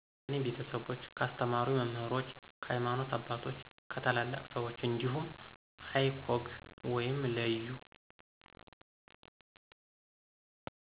ከኔ ቤተሰቦች፣ ካስተማሩኝ መምህሮች፣ ከሀይማኖተ አባቶች፣ ከታላላቅ ሰወች እንዲሁም icog(leyu